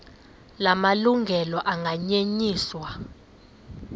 la malungelo anganyenyiswa